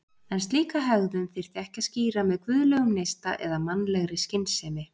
En slíka hegðun þyrfti ekki að skýra með guðlegum neista eða mannlegri skynsemi.